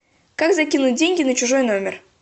как закинуть деньги на чужой номер